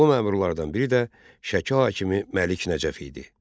Bu məmurlardan biri də Şəki hakimi Məlik Nəcəf idi.